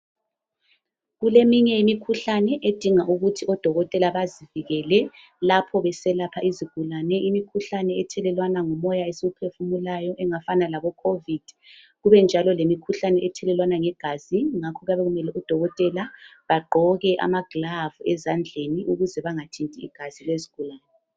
Kuleminye imikhuhlane edinga ukuthi odokotela bazivikele lapho beselapha izigulane. Imikhuhlane ethelelwana ngomoya esiwuphefumulayo efana lekhovidi kube njalo lemikhuhlane ethelelwana ngegazi ngakho kuyabe kumele odokotela bagqoke amagilavu ezandleni ukuze bangathinti igazi lezigulane.